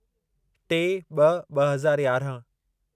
टे ॿ ॿ हज़ार यारहं